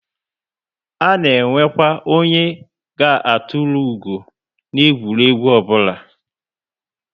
A na enwekwa onye ga etulu ugo na egwuregwu obula